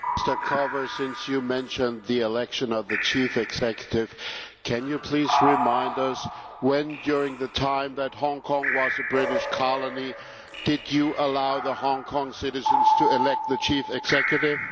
Mr Carver, since you mentioned the election of the Chief Executive, can you please remind us when, during the time that Hong Kong was a British colony, did you allow Hong Kong citizens to elect the Chief Executive?